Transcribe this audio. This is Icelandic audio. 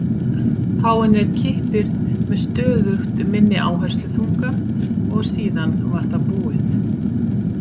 Fáeinir kippir með stöðugt minni áhersluþunga og síðan var það búið.